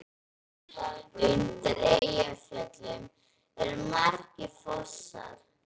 Undir Eyjafjöllum eru margir fossar.